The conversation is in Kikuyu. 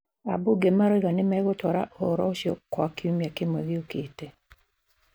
Abunge marauga nimegũtwara ũhuro ũcio kwa kiumia kĩmwe gĩũkite